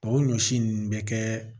O ɲɔsi nunnu bɛ kɛ